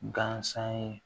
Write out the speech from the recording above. Gansan ye